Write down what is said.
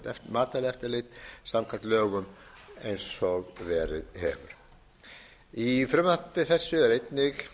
matvælaeftirlit samkvæmt lögum eins og verið hefur í frumvarpi þessu er einnig